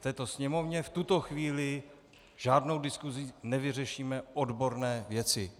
V této Sněmovně v tuto chvíli žádnou diskusí nevyřešíme odborné věci.